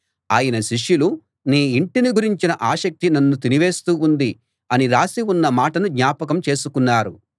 ఆయన శిష్యులు నీ ఇంటిని గురించిన ఆసక్తి నన్ను తినివేస్తూ ఉంది అని రాసి ఉన్న మాటను జ్ఞాపకం చేసుకున్నారు